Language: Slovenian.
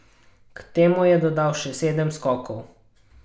K temu je dodal še sedem skokov.